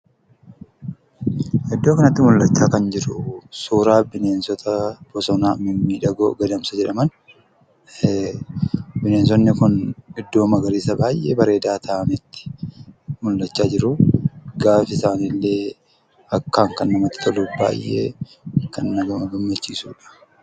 Iddoo kanatti mul'achaa kan jiru suuraa bineensota bosonaa mimmiidhagoo gadamsa jedhaman. Bineensonni kun iddoo magariisa baay'ee bareedaa ta'ametti mul'achaa jiruu. Gaafi isaaniillee akkaan kan namatti toluu fi baay'ee kan nama gammachiisuu dha.